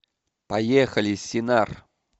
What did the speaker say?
поехали синар